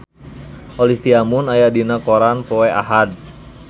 Olivia Munn aya dina koran poe Ahad